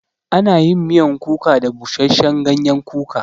Ana yin miyan kuka da busashen gayen kuka